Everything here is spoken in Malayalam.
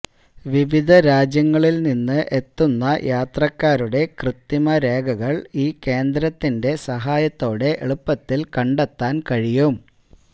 വിവിധ രാജ്യങ്ങളില് നിന്ന് എത്തുന്ന യാത്രക്കാരുടെ ക്യത്രിമ രേഖകള് ഈ കേന്ദ്രത്തിന്റെ സഹായത്തെടെ എളുപ്പത്തില് കണ്ടത്താന് കഴിയും